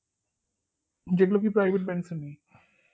যেগুলো কি private bank এ নেই